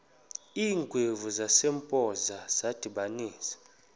iingwevu zasempoza zadibanisana